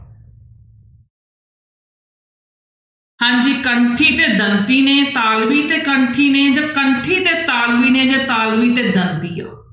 ਹਾਂਜੀ ਕੰਠੀ ਤੇ ਦੰਤੀ ਨੇ ਤਾਲਵੀ ਤੇ ਕੰਠੀ ਨੇ ਜਾਂ ਕੰਠੀ ਤੇ ਤਾਲਵੀ ਨੇ ਜਾਂ ਤਾਲਵੀ ਤੇ ਦੰਦੀ ਆ।